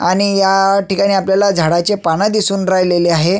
आणि ह्या ठिकाणी आपल्याला झाडाचे पानं दिसून राहिलेले आहे.